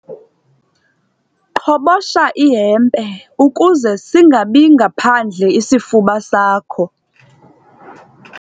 Qhobosha ihempe ukuze singabi phandle isifuba sakho.